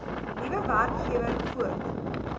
nuwe werkgewer voort